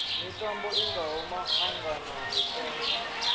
mitambo i ngaho maḓaganana mipengo